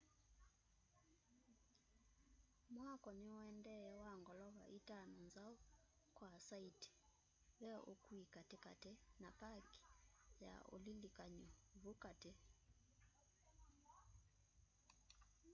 mwako niuendee wa ngolova itano nzau kwa saiti ve ukui katikati na paki ya ulilikany'o vu kati